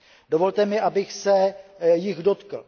Dovolte mi, abych se jich dotkl.